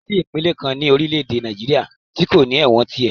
Kò sí ìpínlè kan ní orílẹ̀ èdè Nàìjíríà tí kò ní ẹ̀wọ̀n tirẹ̀.